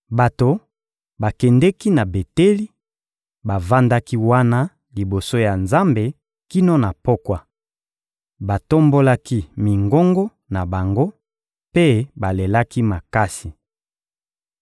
Bato bakendeki na Beteli, bavandaki wana liboso ya Nzambe kino na pokwa. Batombolaki mingongo na bango mpe balelaki makasi.